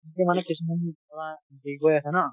তাকে মানে কিছুমান ধৰা